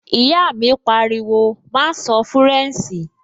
Ìyá mi pariwo, "má sọ fúrẹ̀nṣì!"